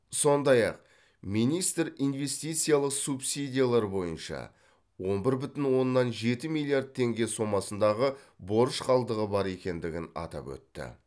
сондай ақ министр инвестициялық субсидиялар бойынша он бір бүтін оннан жеті миллиярд теңге сомасындағы борыш қалдығы бар екендігін атап өтті